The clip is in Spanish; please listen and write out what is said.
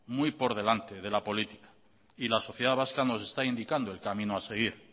muy por delante de la política y la sociedad vasca nos está indicando el camino a seguir